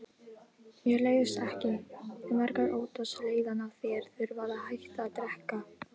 Mér leiðist ekki, en margir óttast leiðann ef þeir þurfa að hætta að drekka.